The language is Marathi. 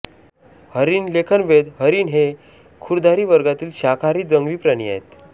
हरीण लेखनभेद हरिण हे खुरधारी वर्गातील शाकाहारी जंगली प्राणी आहेत